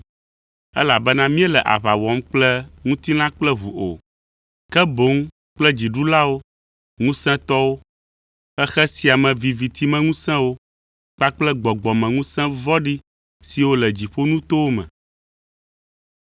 Elabena míele aʋa wɔm kple ŋutilã kple ʋu o, ke boŋ kple dziɖulawo, ŋusẽtɔwo, xexe sia me vivitimeŋusẽwo kpakple gbɔgbɔmeŋusẽ vɔ̃ɖi siwo le dziƒonutowo me.